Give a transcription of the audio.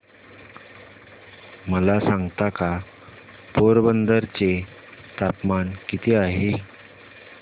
मला सांगता का पोरबंदर चे तापमान किती आहे